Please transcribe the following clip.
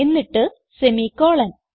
എന്നിട്ട് സെമിക്കോളൻ